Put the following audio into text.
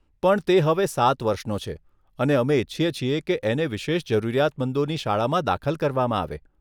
પણ તે હવે સાત વર્ષનો છે અને અમે ઇચ્છીએ છીએ કે એને વિશેષ જરૂરિયાત મંદોની શાળામાં દાખલ કરવામાં આવે.